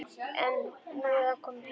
En nú er hann kominn heim.